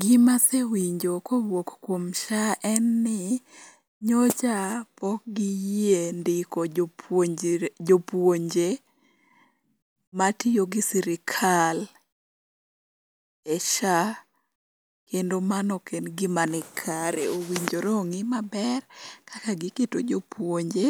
Gima asewinjo ka kowuok kuom SHA en ni nyocha pok giyie ndiko jopuonjre jopuonje matiyo gi sirikal e SHA, kendo mano ok en gima nikare. Owinjore ong'i gimaber kaka giketo jopuonje